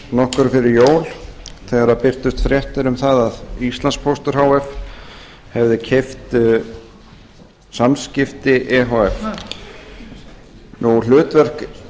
nokkru fyrir jól þegar birtust fréttir um það að íslandspóstur h f hefði keypt samskipti e h f hlutverk